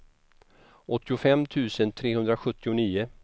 åttiofem tusen trehundrasjuttionio